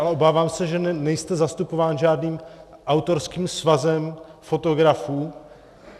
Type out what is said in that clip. Ale obávám se, že nejste zastupován žádným autorským svazem fotografů.